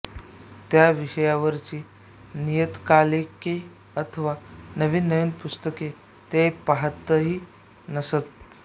त्या विषयावरची नियतकालिके अथवा नवीन नवीन पुस्तके ते पहातही नसत